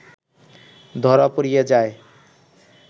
ধরা পড়িয়া যায়